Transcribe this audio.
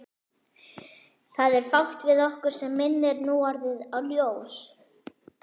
Það er fátt við okkur sem minnir núorðið á ljós.